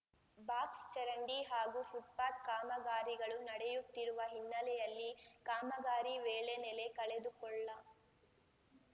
box ಚರಂಡಿ ಹಾಗೂ footpath ಕಾಮಗಾರಿಗಳು ನಡೆಯುತ್ತಿರುವ ಹಿನ್ನೆಲೆಯಲ್ಲಿ ಕಾಮಗಾರಿ ವೇಳೆ ನೆಲೆ ಕಳೆದುಕೊಳ್ಳ